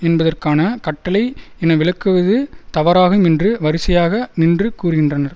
என்பதற்கான கட்டளை என விளக்குவது தவறாகும் என்று வரிசையாக நின்று கூறுகின்றனர்